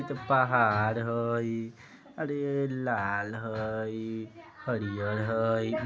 इतो पहाड़ हई अरे लाल हई हरियर हई | इ --